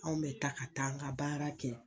Anw mɛ taa ka taa an ka baara kɛ.